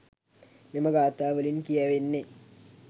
මෙම ගාථා වලින් කියැවෙන්නේ